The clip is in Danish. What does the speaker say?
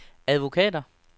advokater